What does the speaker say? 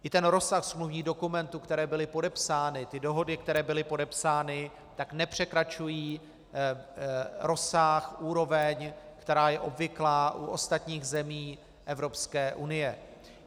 I ten rozsah smluvních dokumentů, které byly podepsány, ty dohody, které byly podepsány, tak nepřekračují rozsah, úroveň, která je obvyklá u ostatních zemí Evropské unie.